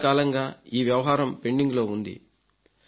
చాలాకాలంగా ఈ వ్యవహారం పెండింగ్లో ఉంది